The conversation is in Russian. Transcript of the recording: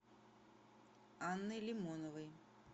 анной лимоновой